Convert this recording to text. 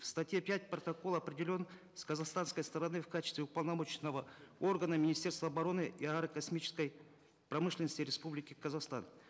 в статье пять протокола определен с казахстанской стороны в качестве уполномоченного органа министерство обороны и аэрокосмической промышленности республики казахстан